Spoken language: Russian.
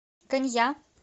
конья